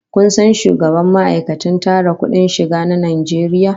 Ko san shugaban ma'aikatar tara kudin shiga na Najeriya?